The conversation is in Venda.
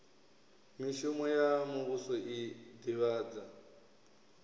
mishumo ya muvhuso i ḓivhadza